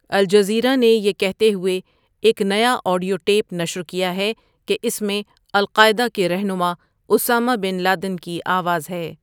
Al Jazeera نے یہ کہتے ہوۓ ایک نیا آڈیو ٹیپ نشر کیا ہے کہ اس میں القاعدہ کے رہنما اسامہ بن لادن کی آواز ہے۔